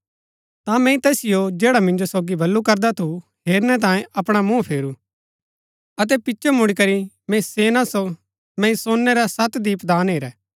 ता मैंई तैसिओ जैडा मिंजो सोगी बल्लू करदा थू हेरनै तांयें अपणा मुँह फेरू अतै पिचो मुड़ीकरी मैंई सोनै रै सत दीपदान हेरै